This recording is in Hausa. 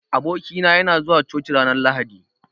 Aboki na, yana zuwa coci ranar lahadi.